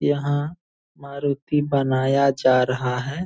यहां मारूति बनाया जा रहा है।